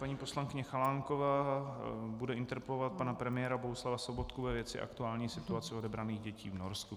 Paní poslankyně Chalánková bude interpelovat pana premiéra Bohuslava Sobotku ve věci aktuální situace odebraných dětí v Norsku.